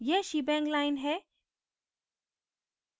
यह shebang line है